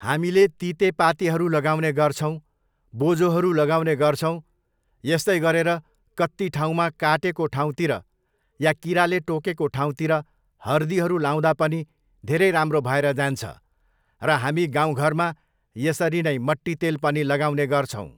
हामीले तितेपातीहरू लगाउने गर्छौँ, बोझोहरू लगाउने गर्छौँ यस्तै गरेर कत्ति ठाउँमा काटेको ठाउँतिर या किराले टोकेको ठाउँतिर हर्दीहरू लाउँदा पनि धेरै राम्रो भएर जान्छ र हामी गाउँघरमा यसरी नै मट्टितेल पनि लगाउने गर्छौँ